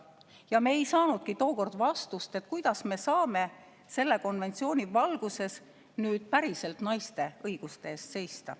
Aga me ei saanudki tookord vastust, kuidas me saame selle konventsiooni valguses nüüd päriselt naiste õiguste eest seista.